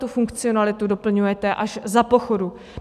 Tuto funkcionalitu doplňujete až za pochodu.